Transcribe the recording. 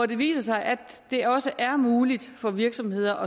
det viste sig at det også er muligt for virksomheder